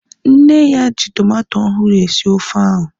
Nne ya ji tomato ọhụrụ esi ofe ahu